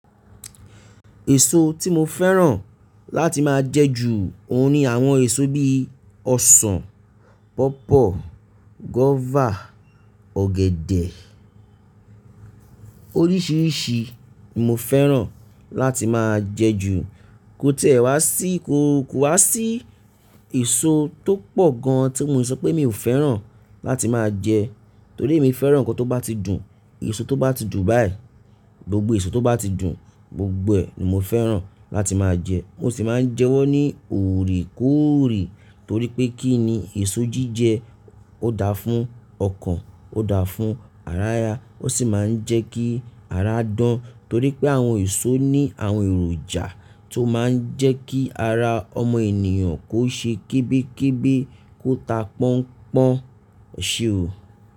Èso tí mo fẹ́ràn láti máa jẹ ju òun ní àwọn èso bí i ọsàn, pọ́pọ̀, guọ́fà, ọ̀gẹ̀dẹ̀ oríṣìíríṣìí ni mo fẹ́ràn láti máa jẹ ju. Kó tiẹ́ wá sí, kó wá sí èso tó pọ̀ gan tí mo le sọ pé mi ò fẹ́ràn láti máa jẹ torí emi fẹ́ràn ohun kan tó bá ti dùn, èso tó bá ti dùn báyìí, gbogbo èso tó bá ti dùn gbogbo ni mo fẹ́ràn láti máa jẹ. Mo sì máa ń jẹ wọ́n ní òrèkóòrè torí pé kí ni èso jíjẹ ó dá fún ọkàn, ó dá fún ara ya, ó sì máa ń jẹ́ kí ara dán torí pé àwọn èso ní àwọn èròjà tó máa ń jẹ́ kí ara ọmọ ènìyàn kó ṣe kébékébé kó ta pọ́n pọ́n, eṣèo.